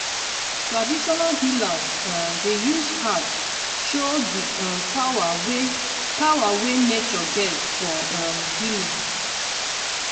traditional healers um dey use herbs show di um power wey power wey nature get for um healing.